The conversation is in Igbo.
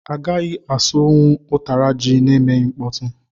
I gaghị asụ nwụ ụtara jị na emeghị mkpọtu.